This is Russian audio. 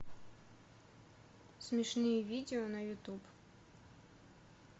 смешные видео на ютуб